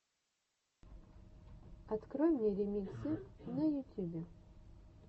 открой мне ремиксы на ютюбе